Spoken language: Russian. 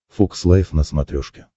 фокс лайв на смотрешке